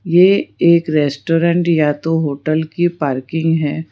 यह एक रेस्टोरेंट या तो होटल की पार्किंग है।